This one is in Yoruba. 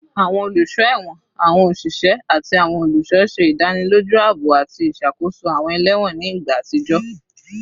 Awọn oluso ẹwọn, awọn oṣiṣẹ, ati awọn oluṣọ ṣe idaniloju aabo ati iṣakoso awọn ẹlẹwọn ni igba atijọ